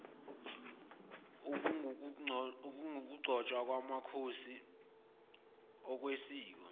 okungukugcotshwa kwamakhosi ngokwesiko